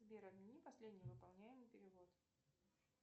сбер отмени последний выполняемый перевод